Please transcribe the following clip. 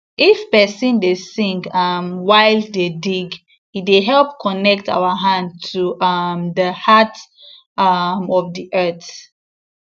if person dey sing um while dey dig e dey help connect our hand to um the heart um of the earth